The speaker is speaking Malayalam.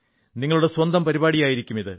നിങ്ങളുടെ സ്വന്തം പരിപാടിയാകും ഇത്